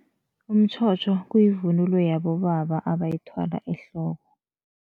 Umtjhotjho kuyivunulo yabobaba abayithwala ehloko.